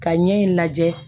Ka ɲɛ in lajɛ